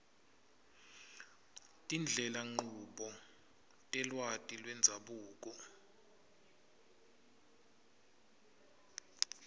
tindlelanchubo telwati lwendzabuko